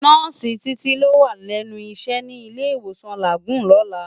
Nòsi Titi ló wá lènú iṣè ni Ilé Iwósán Lágúùn lòlá